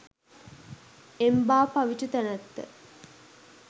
එම්බා පවිටු තැනැත්ත